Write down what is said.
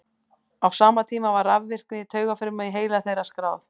á sama tíma var rafvirkni taugafruma í heila þeirra skráð